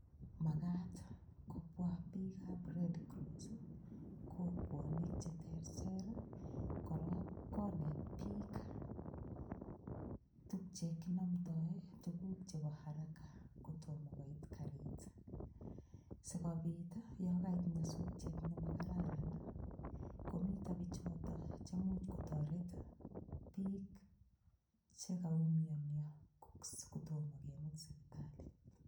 Makat kobwa biikab red cross kokwonik cheterter korok konet biik tukche kinamtoi tukuk chebo haraka kotomo koit karit sikobit yo kait nyasutiet nemakararan komito bichoto chemuuch kotoret biik chekaumiyonyo kotomo kemut sipitali